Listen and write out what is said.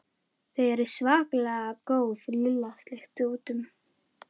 Þau eru svakalega góð Lilla sleikti út um.